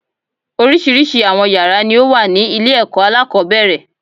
Oríṣiríṣi àwọn yàrá ni ó wà ní ilé èkó alákòóbèrè